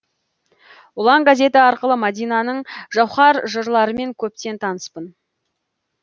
ұлан газеті арқылы мадинаның жауһар жырларымен көптен таныспын